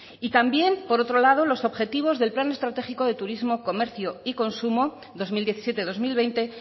y también por otro lado los objetivos del plan estratégico de turismo comercio y consumo dos mil diecisiete dos mil veinte